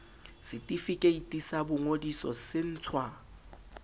setefikeiti sa boingodiso se ntshwa